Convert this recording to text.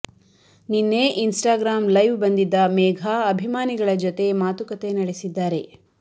ನಿನ್ನೆ Instagram live ಬಂದಿದ್ದ ಮೇಘಾ ಅಭಿಮಾನಿಗಳ ಜತೆ ಮಾತುಕತೆ ನಡೆಸಿದ್ದಾರೆ